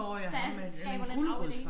Der skaber lidt rav ik